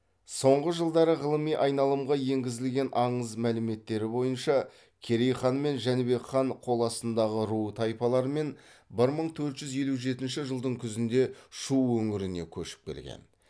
соңғы жылдары ғылыми айналымға енгізілген аңыз мәліметтері бойынша керей хан мен жәнібек хан қол астындағы ру тайпалармен бір мыі төрт жүз елу жетінші жылдың күзінде шу өңіріне көшіп келген